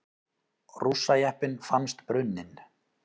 Rússajeppinn fannst brunninn